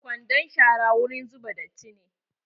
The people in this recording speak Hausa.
Kwandon shara wurin zuba datti ne.